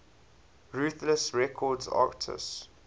ruthless records artists